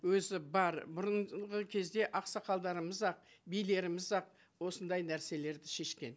өзі бар бұрынғы кезде ақсақалдарымыз ақ билеріміз ақ осындай нәрселерді шешкен